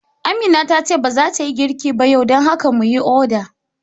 Amina tace ba zata yi girki ba yau, dan haka mu yi oda